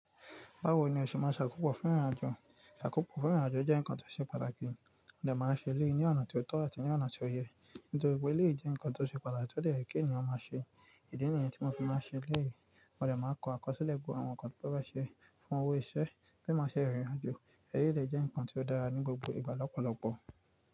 Báwo ni o ṣe máa ṣàkópọ̀ fún ìrìnàjò? Ìṣàkópọ̀ fún ìrìnàjò jẹ́ nǹkan tó ṣe pàtàkì, mó dẹ̀ máa ń ṣe eleyii ní ọ̀nà tó tọ́ àti ní ọ̀nà tó yẹ. Nítorí pé èleyii jẹ́ ǹnkan tó ṣe pàtàkì tó dè ye kí èeyàn máa ṣe. Ìdí nìyẹn tí mo fi máa n ṣe eleyìí, mo dẹ̀ máa n kọ àkọsílẹ̀ gbogbo àwọn ǹnkan tí ó fẹ́ ṣe fún owó iṣẹ́ bí mo ṣe rìn ìrìnàjò. Èleyii dè jẹ́ ǹnkan tí ó dára ní gbogbo ìgbà lọ́pọ̀lọpọ̀.